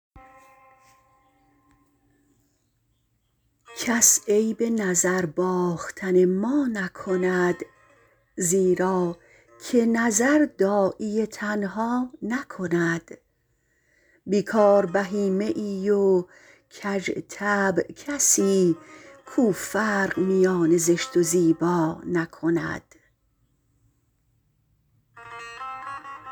کس عیب نظر باختن ما نکند زیرا که نظر داعی تنها نکند بیکار بهیمه ای و کژطبع کسی کو فرق میان زشت و زیبا نکند